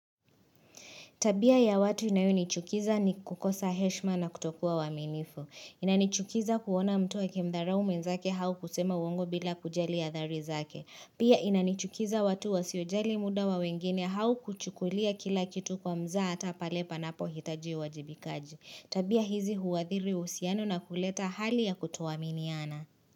Tabia ya watu inayonichukiza ni kukosa heshima na kutokuwa waaminifu. Inanichukiza kuona mtu akimdharau mwenzake au kusema uongo bila kujali adhari zake. Pia inanichukiza watu wasiojali muda wa wengine au kuchukulia kila kitu kwa mzaa hata pale panapo hitaji uwajibikaji. Tabia hizi huathiri uhusiano na kuleta hali ya kutuoaminiana.